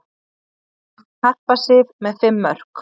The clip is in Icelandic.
Harpa Sif með fimm mörk